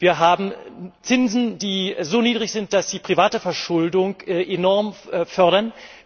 Wir haben Zinsen, die so niedrig sind, dass sie private Verschuldung enorm fördern.